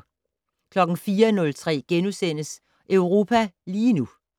04:03: Europa lige nu *